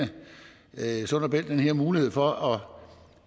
sund og bælt den her mulighed for at